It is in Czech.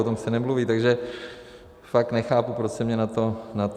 O tom se nemluví, takže fakt nechápu, proč se mě na to ptáte.